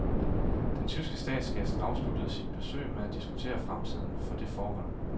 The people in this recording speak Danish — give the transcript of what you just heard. Den tyske statsgæst afsluttede sit besøg med at diskutere fremtiden for det forhold.